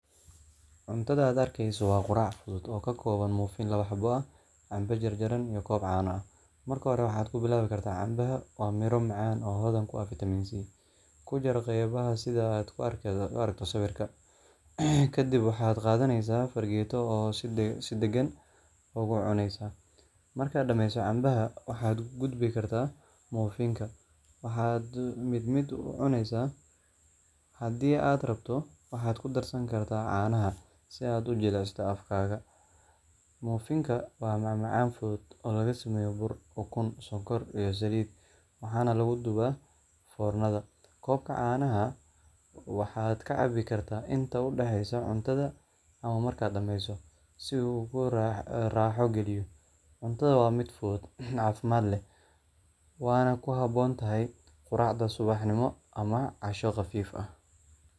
Cuntada aad arkeyso waa qurac guud oo kakooban muufin labo xabo ah cambo jarjaran iyo koob caano ah, marka hore waxaad kubilaawi kartaa cambaha waa miro macaan oo hodhan ku ah vitamin c, kujar qeybaha sidha aadh kuaragto sawirka, kadib waxaad qaadaneysaa fargeeto oo si degan ugu cuneysaa, markaad dhameyso cambaha waxaad ugudbi kartaa mufinka, waxaad mid mid ucuneysaa, hadii aad rabto waxaad kudarsan kartaa caanaha si aad ujilicsato afkaaga, muufinka waa macmacaan fudud oo lagasameyo bur ukun sonkor iyo saliid, waxaana lagudubaa foornada, koobka caanaha waxaad ka cabi karta in udhaxeyso cuntada ama markaad dhameyso si uu kuu raaxo galiyo, cuntada waa mid fudud caafimad leh waana kuhabon tahay quracda subaxnimo ama casho qafiif ah.